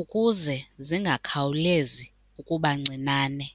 ukuze zingakhawulezi ukuba ncinane.